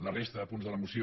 la resta de punts de la moció